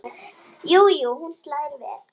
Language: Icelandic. Jú jú, hún slær vel!